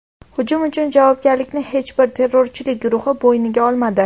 Hujum uchun javobgarlikni hech bir terrorchilik guruhi bo‘yniga olmadi.